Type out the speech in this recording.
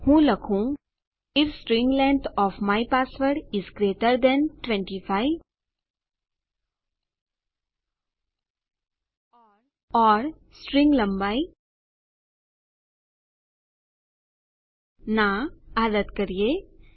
હું લખું I F string length O F my password is greater than 25 જો મારા પાસવર્ડની સ્ટ્રીંગ લંબાઈ 25 કરતા વધારે છેorસ્ટ્રીંગ લંબાઈ ના